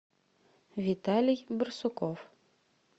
виталий барсуков